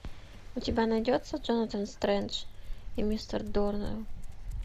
у тебя найдется джонатан стрендж и мистер норрелл